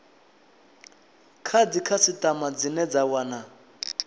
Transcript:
kha dzikhasitama dzine dza wana